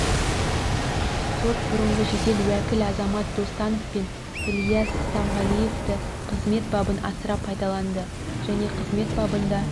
сот бұрынғы жедел уәкіл азамат достанов пен ілияс стамғалиевты қызмет бабын асыра пайдаланды және қызмет бабында